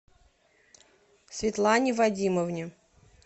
светлане вадимовне